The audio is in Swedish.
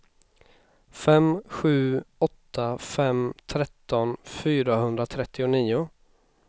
fem sju åtta fem tretton fyrahundratrettionio